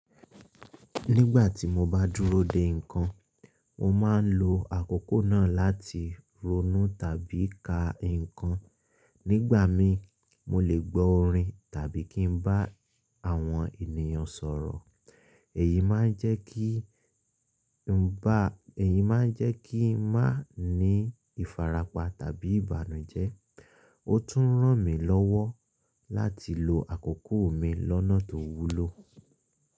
Nígbà tí mo bá dúró de ǹkan, mo máa ń lo àkókò náà láti ronú tàbí ka ǹkan. Nígbà mi, mo lè gbọ́ orin tàbí kí n bá àwọn ènìyàn sọ̀rọ̀. Èyí máa ń jẹ́ kí n má ní ìfarapa tàbí ìbànújẹ́. Ó tún ràn mí lọ́wọ́ láti lo àkókò mi lọ́nà tó wúlò.